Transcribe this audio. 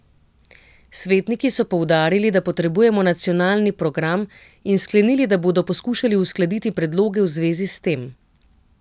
Svetniki so poudarili, da potrebujemo nacionalni program, in sklenili, da bodo poskušali uskladiti predloge v zvezi s tem.